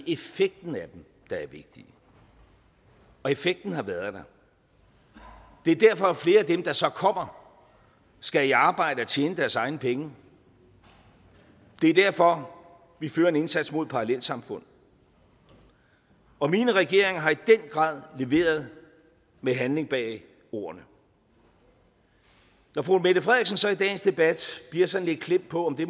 effekten af dem der er vigtig og effekten har været der det er derfor at flere af dem der så kommer skal i arbejde og tjene deres egne penge og det er derfor vi fører en indsats mod parallelsamfund og mine regeringer har i den grad leveret med handling bag ordene når fru mette frederiksen så i dagens debat bliver sådan lidt klemt på om det